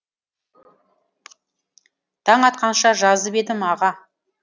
таң атқанша жазып едім аға